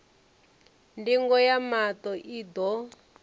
ndingo ya maṱo i ḓo